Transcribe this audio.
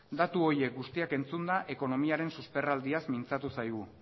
datu horiek guztiak entzunda ekonomiaren susperraldiaz mintzatu zaigun